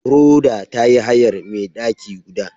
Rhoda ta yi hayar mai daki guda.